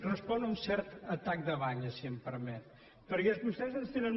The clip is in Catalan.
respon a un cert atac de banyes si em permet perquè vostès ens tenen